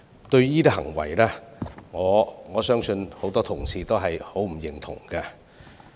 對於這些行為，我相信很多同事均不表認同。